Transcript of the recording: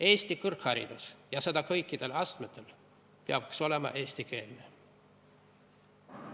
Eesti kõrgharidus – ja seda kõikidel astmetel – peaks olema eestikeelne.